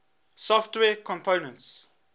software components